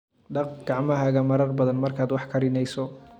Dhaq gacmahaaga marar badan markaad wax karinayso.